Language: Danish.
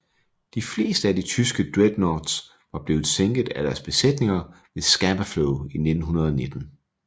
De fleste af de tyske dreadnoughts var blevet sænket af deres besætninger ved Scapa Flow i 1919